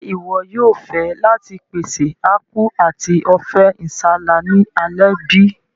Ṣe iwọ yóò fẹ láti pèsè Apku ati Ofe nsala ni alẹ́ bi?